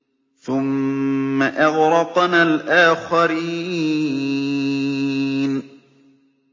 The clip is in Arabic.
ثُمَّ أَغْرَقْنَا الْآخَرِينَ